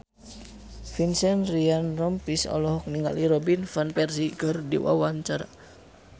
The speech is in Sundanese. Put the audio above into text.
Vincent Ryan Rompies olohok ningali Robin Van Persie keur diwawancara